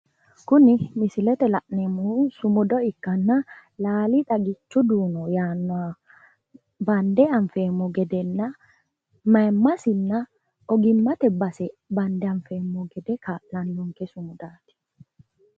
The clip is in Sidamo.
Kuni misilete iima la'neemmohu Lalli xaggichu dunno ikkanna mayimasinna ogimasi anfeemmo gedeti